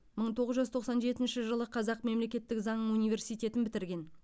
мың тоғыз жүз тоқсан жетінші жылы қазақ мемлекеттік заң университетін бітірген